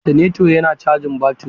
Oltaneto yana cajin baturi.